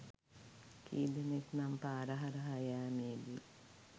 කී දෙනෙක් නම් පාර හරහා යෑමේදි